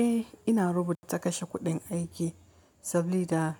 Eh, ina rubuta kashe kuɗin aiki sabili da